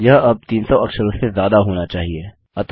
यह अब 300 अक्षरों से ज्यादा होना चाहिए